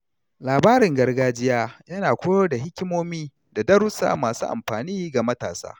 Labarin gargajiya yana koyar da hikimomi da darussa masu amfani ga matasa.